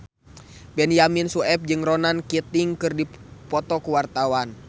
Benyamin Sueb jeung Ronan Keating keur dipoto ku wartawan